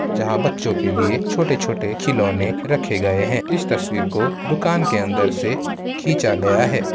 जहाँ बच्चों के लिए छोटे-छोटे खिलौने रखे गए हैं। इस तस्वीर को दुकान के अंदर से खिंचा गया है।